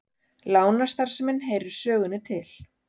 Lánastarfsemin heyrir sögunni til